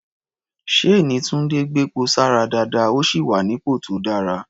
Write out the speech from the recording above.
Ṣséèní Túńdé gbepo sára dáadáa, ó sì wà nípò tó dára.